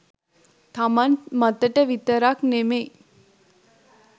තමන් මතට විතරක් නෙමෙයි